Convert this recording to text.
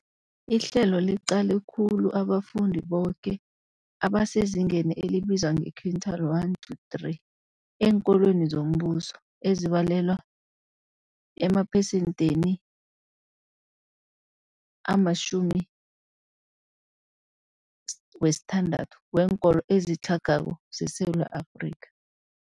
Ihlelo liqale khulu abafundi boke abasezingeni elibizwa nge-quintile 1-3 eenkolweni zombuso, ezibalelwa emaphesentheni ama-60 weenkolo ezitlhagako zeSewula Afrika.